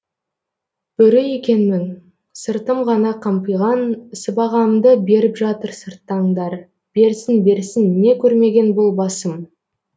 бөрі екен мін сыртым ғана қампиған сыбағамды беріп жатыр сырттаңдар берсін берсін не көрмеген бұл басым